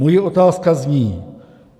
Moje otázka zní: